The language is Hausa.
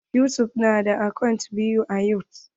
Yusuf na da akant biyu a yutub.